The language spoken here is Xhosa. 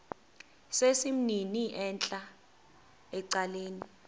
sesimnini entla ecaleni